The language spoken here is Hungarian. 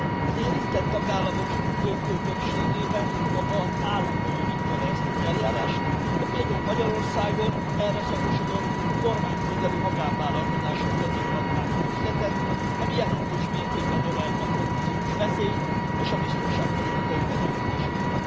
Az érintett tagállamok döntő többségében maga az állam bonyolítja le ezt az eljárást, de például Magyarországon erre szakosodott kormányközeli magánvállalkozások kezébe adták az üzletet, ami jelentős mértékben növelte a korrupciós veszélyt és a biztonságpolitikai fenyegetéseket.